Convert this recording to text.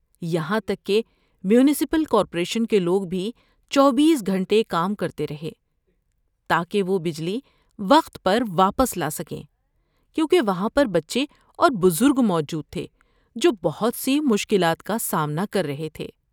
یہاں تک کہ میونسپل کارپوریشن کے لوگ بھی چوبیس گھنٹے کام کرتے رہے، تاکہ وہ بجلی وقت پر واپس لا سکیں، کیونکہ وہاں پر بچے اور بزرگ موجود تھے جو بہت سی مشکلات کا سامنا کر رہے تھے۔